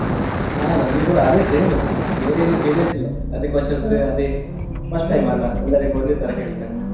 ಹ ನಮ್ಗೆ ಕೂಡ ಅದೆ same ಬೇರೇನೂ changes ಇಲ್ಲ ಅದೇ questions ಅದೇ first time ಅಲ್ಲ ಎಲ್ಲರಿಗೂ ಒಂದೇ ತರ ಕೇಳ್ತಾರೆ.